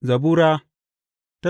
Zabura Sura